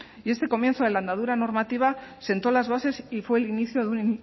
y este comienzo de la andadura normativa sentó las bases y fue el inicio de un